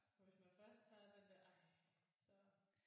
For hvis man først har den der ej så